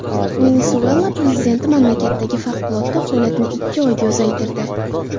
Venesuela prezidenti mamlakatdagi favqulodda holatni ikki oyga uzaytirdi.